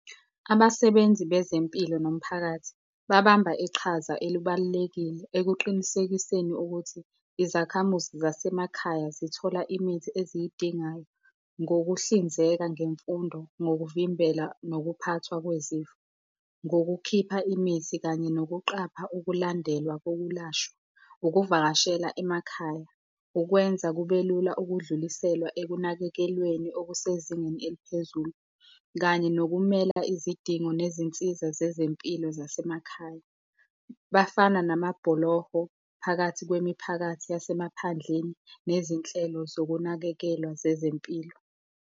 Abasebenzi bezempilo nomphakathi, babamba iqhaza elibalulekile ekuqinisekiseni ukuthi izakhamuzi zasemakhaya zithola imithi eziyidingayo ngokuhlinzeka ngemfundo, ngokuvimbela nokuphathwa kwezifo, ngokukhipha imithi kanye nokuqapha ukulandelwa kokulashwa, ukuvakashela emakhaya. Kukwenza kube lula ukudluliselwa ekunakekelweni okusezingeni eliphezulu, kanye nokumela izidingo nezinsiza zezempilo zasemakhaya. Bafana namabhuloho phakathi kwemiphakathi yasemaphandleni nezinhlelo zokunakekelwa zezempilo.